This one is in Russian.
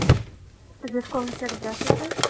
телефон фотографии